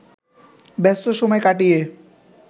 ব্যস্ত সময় কাটিয়ে